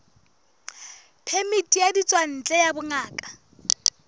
phemiti ya ditswantle ya bongaka